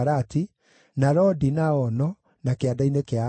na Lodi na Ono, na Kĩanda-inĩ kĩa Aturi.